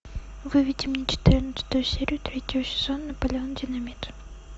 выведи мне четырнадцатую серию третьего сезона наполеон динамит